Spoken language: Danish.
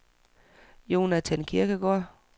Jonathan Kirkegaard